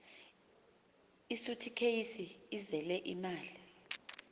isuthikheyisi ezele imali